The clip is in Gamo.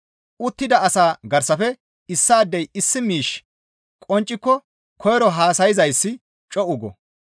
Uttida asaa garsafe issaadey issi miishshi qoncciko koyro haasayzayssi co7u go.